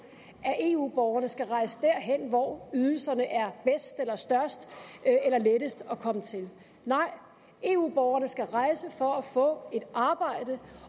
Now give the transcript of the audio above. at eu borgerne skal rejse derhen hvor ydelserne er bedst eller størst eller lettest at komme til nej eu borgerne skal rejse for at få et arbejde